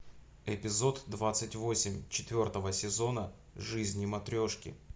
эпизод двадцать восемь четвертого сезона жизни матрешки